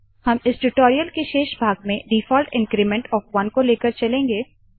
हम इस टूटोरीयल के शेष भाग में डिफौल्ट इन्क्रीमेंट ऑफ 1 को लेकर चलेंगे